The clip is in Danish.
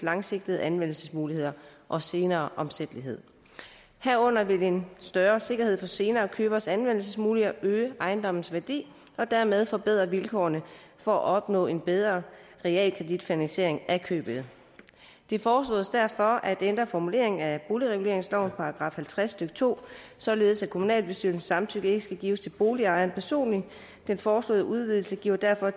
langsigtede anvendelsesmuligheder og senere omsættelighed herunder vil en større sikkerhed for senere køberes anvendelsesmuligheder øge ejendomsværdien og dermed forbedre vilkårene for at opnå en bedre realkreditfinansiering af købet det foreslås derfor at ændre formuleringen af boligreguleringslovens § halvtreds stykke to således at kommunalbestyrelsens samtykke ikke skal gives til boligejeren personligt den foreslåede udvidelse giver derfor